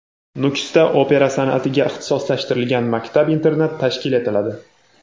Nukusda opera san’atiga ixtisoslashtirilgan maktab-internat tashkil etiladi.